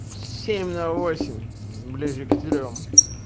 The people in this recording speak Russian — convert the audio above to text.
семь на восемь ближе к трём